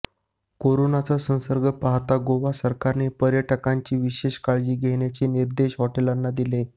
करोनाचा संसर्ग पाहता गोवा सरकारने पर्यटकांची विशेष काळजी घेण्याचे निर्देश हॉटेलांना दिले